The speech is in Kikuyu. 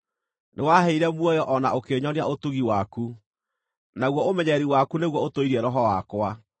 Nĩwaaheire muoyo o na ũkĩnyonia ũtugi waku; naguo ũmenyereri waku nĩguo ũtũirie roho wakwa.